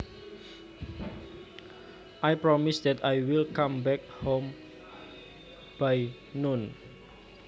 I promise that I will come back home by noon